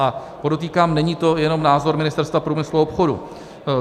A podotýkám, není to jenom názor Ministerstva průmyslu a obchodu.